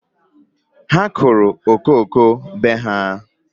Ha kụrụ ifuru be ha